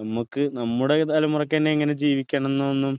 നമ്മക്ക് നമ്മുടെ തലമുറയ്ക്ക് എന്നെ എങ്ങനെ ജീവിക്കണം എന്നോ ഒന്നും